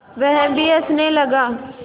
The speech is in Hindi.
वह भी हँसने लगा